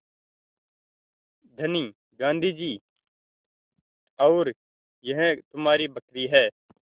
धनी गाँधी जी और यह तुम्हारी बकरी है